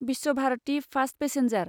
Visvabharati fast passenger